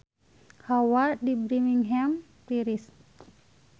Hawa di Birmingham tiris